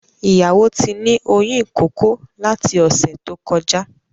Ìyàwó tí ní oyún ìkókó lati ọ̀sẹ̀ tó kọjá